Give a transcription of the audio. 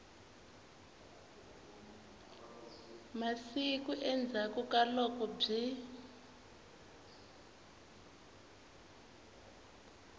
masiku endzhaku ka loko byi